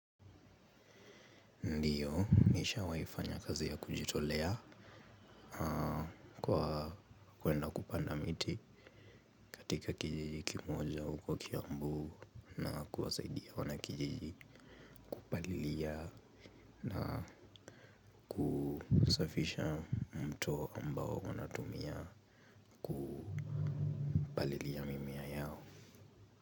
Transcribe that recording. Ndiyo, nishawahi kufanya kazi ya kujitolea kwa kuenda kupanda miti katika kijiji kimoja huko kiambu na kuwasaidia wanakijiji kupalilia na kusafisha mto ambao wanatumia kupalilia mimea yao.